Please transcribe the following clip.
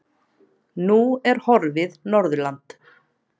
Nú er horfið Norðurland.